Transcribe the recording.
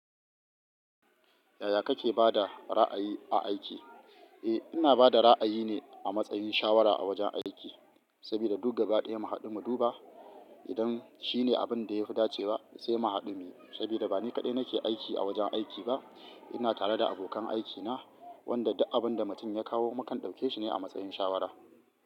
Yaya kake ba da ra'ayi a aiki? Eh, ina ba da ra'ayi ne a matsayin shawara a wajen aiki. Saboda duk gaba daya mu haɗu mu duba idan shine abin da ya fi dacewa sai mu haɗu muyi. Saboda ba ni kaɗai nake aiki a wajen aiki ba. Ina tare da abokan aikina wanda duk abin da mutum ya kawo mukan ɗauke shi ne a matsayin shawara.